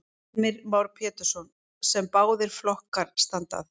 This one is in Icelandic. Heimir Már Pétursson: Sem báðir flokkar standa að?